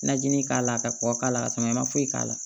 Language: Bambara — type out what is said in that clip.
Najinin k'a la ka kɔkɔ k'a la ka tɔnɔ ma foyi k'a la